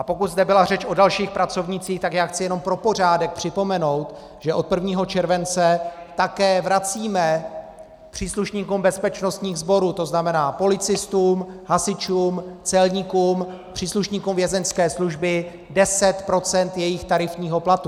A pokud zde byla řeč o dalších pracovnících, tak já chci jenom pro pořádek připomenout, že od 1. července také vracíme příslušníkům bezpečnostních sborů, to znamená policistům, hasičům, celníkům, příslušníkům Vězeňské služby, 10 % jejich tarifního platu.